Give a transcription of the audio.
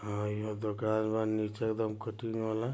हां यह दुकान है नीचे एकदम कुटी